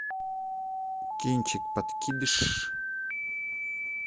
кинчик подкидыш